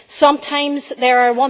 Sometimes there are